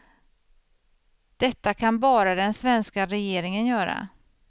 Detta kan bara den svenska regeringen göra.